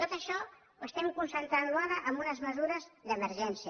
tot això ho estem concentrant ara amb unes mesures d’emergència